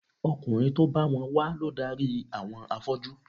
Ọkùnrin tó bá wọn wá ló darí àwọn afọ́jú